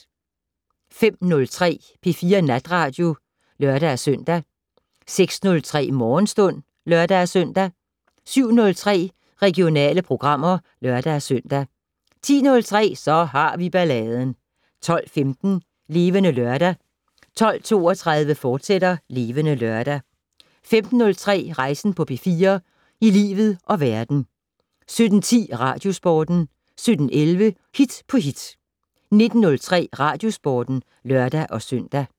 05:03: P4 Natradio (lør-søn) 06:03: Morgenstund (lør-søn) 07:03: Regionale programmer (lør-søn) 10:03: Så har vi balladen 12:15: Levende Lørdag 12:32: Levende Lørdag, fortsat 15:03: Rejsen på P4 - i livet og verden 17:10: Radiosporten 17:11: Hit på hit 19:03: Radiosporten (lør-søn)